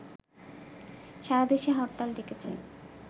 সারাদেশে হরতাল ডেকেছে